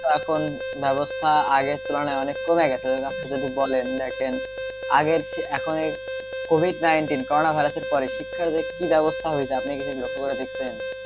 শিক্ষার তো এখন ব্য়বস্থা আগের তুলনায় অনেক কমে গেছে তো আপনি যদি বলেন দেখেন আগের চেয়ে এখনের কোভিড nineteen কোরনা ভাইরাসের পরে শিক্ষার যে কি ব্য়বস্থা হইছে আপনি সেটা কি লক্ষ্য করে দেখেছেন,